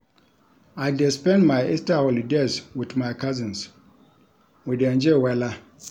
I dey spend my Easter holidays wit my cousins, we dey enjoy wella.